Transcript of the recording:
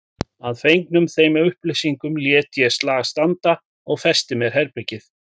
Að fengnum þeim upplýsingum lét ég slag standa og festi mér herbergið.